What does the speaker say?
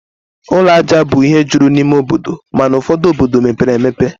Ụlọ aja bụ ihe juru n'ime obodo, mana ụfọdu obodo mepere emepe